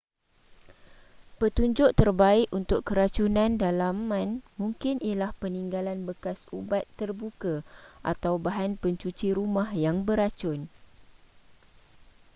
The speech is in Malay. petunjuk terbaik untuk keracunan dalaman mungkin ialah peninggalan bekas ubat terbuka atau bahan pencuci rumah yang beracun